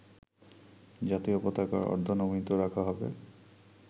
জাতীয় পতাকা অর্ধনমিত রাখা হবে